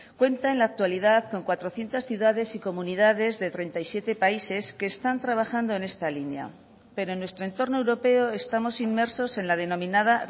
cuenta en la actualidad con cuatrocientos ciudades y comunidades de treinta y siete países que están trabajando en esta línea pero en nuestro entorno europeo estamos inmersos en la denominada